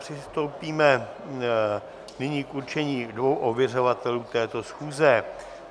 Přistoupíme nyní k určení dvou ověřovatelů této schůze.